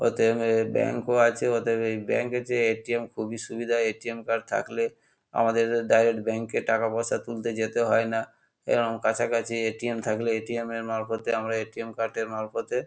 অতএব এর ব্যাংক ও আছে। ওদের এই ব্যাংক এর চেয়ে এ.টি.এম খুবই সুবিধা। এ.টি.এম কার্ড থাকলে আমাদের ডাইরেক্ট ব্যাংক এ টাকা পয়সা তুলতে যেতে হয় না এরম কাছাকাছি এ.টি.এম থাকলে এ.টি.এম এর মারফতে আমরা এ.টি.এম কার্ড এর মারফতে--